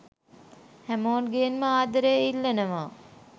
හැමෝගෙන්ම ආදරයෙන් ඉල්ලනව.